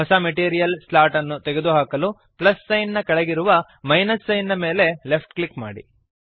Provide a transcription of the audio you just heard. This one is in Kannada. ಹೊಸ ಮೆಟೀರಿಯಲ್ ಸ್ಲಾಟ್ ಅನ್ನು ತೆಗೆದುಹಾಕಲು ಪ್ಲಸ್ ಸೈನ್ ನ ಕೆಳಗಿರುವ ಮೈನಸ್ ಸೈನ್ ನ ಮೇಲೆ ಲೆಫ್ಟ್ ಕ್ಲಿಕ್ ಮಾಡಿರಿ